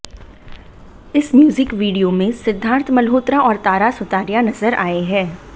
इस music video में सिद्धार्थ मल्होत्रा और तारा सुतारिया नजर आए हैं